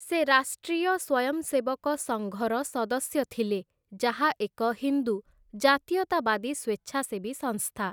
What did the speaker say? ସେ ରାଷ୍ଟ୍ରୀୟ ସ୍ୱୟଂସେବକ ସଙ୍ଘର ସଦସ୍ୟ ଥିଲେ, ଯାହା ଏକ ହିନ୍ଦୁ ଜାତୀୟତାବାଦୀ ସ୍ୱେଚ୍ଛାସେବୀ ସଂସ୍ଥା ।